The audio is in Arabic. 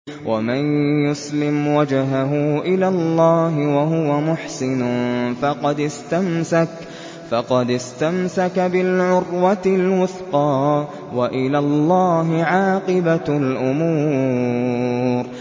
۞ وَمَن يُسْلِمْ وَجْهَهُ إِلَى اللَّهِ وَهُوَ مُحْسِنٌ فَقَدِ اسْتَمْسَكَ بِالْعُرْوَةِ الْوُثْقَىٰ ۗ وَإِلَى اللَّهِ عَاقِبَةُ الْأُمُورِ